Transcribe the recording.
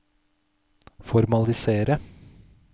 formalisere